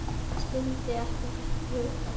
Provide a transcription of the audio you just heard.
Hann skildi ekki þetta hugtak.